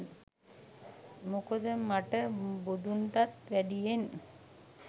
මොකද මට බුදුන්ටත් වැඩියෙන්